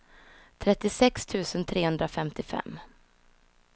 trettiosex tusen trehundrafemtiofem